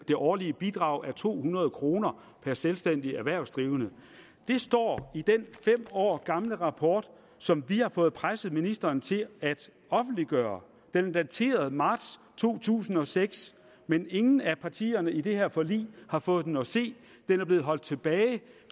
det årlige bidrag er to hundrede kroner per selvstændig erhvervsdrivende det står i den fem år gamle rapport som vi har fået presset ministeren til at offentliggøre den er dateret marts to tusind og seks men ingen af partierne i det her forlig har fået den at se den er blevet holdt tilbage